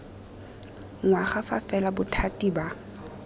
ngwaga fa fela bothati ba